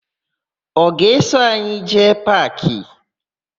Ọ ga-eso anyị jee paakị?